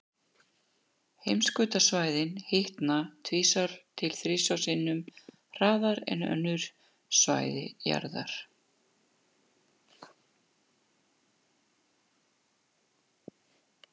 Heimskautasvæðin hitna tvisvar til þrisvar sinnum hraðar en önnur svæði jarðar.